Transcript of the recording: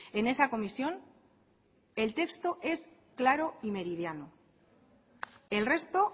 en esa comisión el texto es claro y meridiano el resto